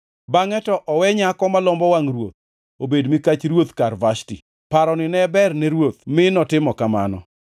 Bangʼe to owe nyako molombo wangʼ ruoth obed mikach ruoth kar Vashti.” Paroni ne ber ne ruoth mi notimo kamano.